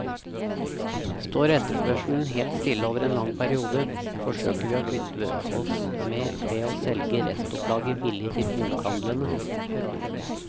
Står etterspørselen helt stille over en lang periode, forsøker vi å kvitte oss med ved å selge restopplaget billig til bokhandlene.